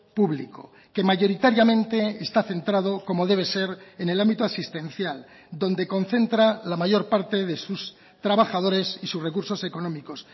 público que mayoritariamente está centrado como debe ser en el ámbito asistencial donde concentra la mayor parte de sus trabajadores y sus recursos económicos